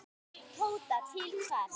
Tóta: Til hvers?